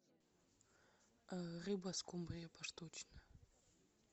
рыба скумбрия поштучно